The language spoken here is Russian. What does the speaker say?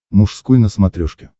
мужской на смотрешке